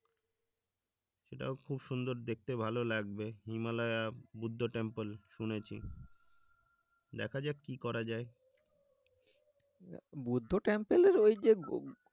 সেটাও খুব সুন্দর দেখতে ভালো লাগবে হিমালয়া বুদ্ধ টেম্পল শুনেছি দেখা যাক কি করা যায়